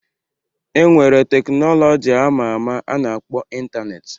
E nwere teknọlọji ama ama a na-akpọ Ịntaneetị.